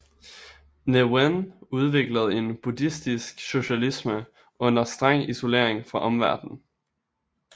Ne Win udviklede en buddhistisk socialisme under streng isolering fra omverdenen